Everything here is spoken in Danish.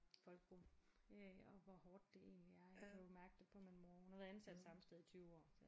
Folkeskolen øh og hvor hårdt det egentlig er jeg kunne også mærke det på min mor hun har været ansat det samme sted i 20 år så